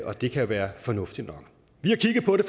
og det kan være fornuftigt nok vi har kigget på det